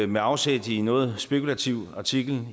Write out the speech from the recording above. med afsæt i en noget spekulativ artikel